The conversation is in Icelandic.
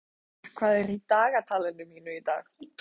Seimur, hvað er í dagatalinu mínu í dag?